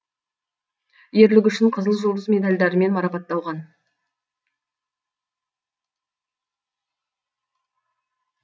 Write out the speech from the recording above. ерлігі үшін қызыл жұлдыз медалдарымен марпатталған